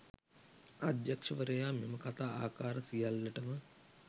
අධ්‍යක්ෂවරයා මෙම කථා ආකාර සියල්ලටම